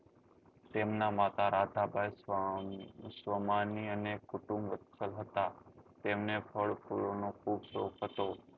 તેમના માતા રાતા બાઈ સ્વમાની અને કુટુંબ રક્ષક હતા તેમને ફળ ફૂલો નો ખુબ શોખ હતો